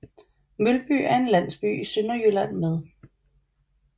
Mølby er en landsby i Sønderjylland med